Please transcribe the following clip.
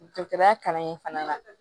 Dɔkitɛri fana na